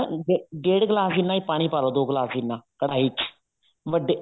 ਡੇਡ ਗਲਾਸ ਜਿੰਨਾ ਹੀ ਪਾਣੀ ਪਾਲੋ ਦੋ ਗਲਾਸ ਜਿੰਨਾ ਕੜ੍ਹਾਈ ਚ ਵੱਡੇ